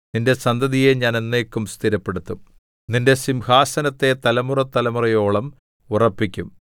നിന്റെ സന്തതിയെ ഞാൻ എന്നേക്കും സ്ഥിരപ്പെടുത്തും നിന്റെ സിംഹാസനത്തെ തലമുറതലമുറയോളം ഉറപ്പിക്കും സേലാ